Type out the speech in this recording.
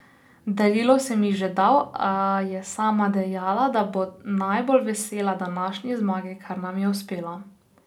Darilo sem ji že dal, a je sama dejala, da bo najbolj vesela današnje zmage, kar nam je uspelo.